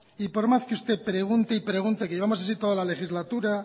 y por más que usted pregunte y pregunte que llevamos así toda la legislatura